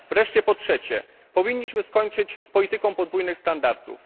Wreszcie po trzecie, powinniśmy skończyć z polityką podwójnych standardów.